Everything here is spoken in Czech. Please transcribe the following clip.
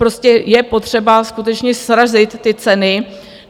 Prostě je potřeba skutečně srazit ty ceny.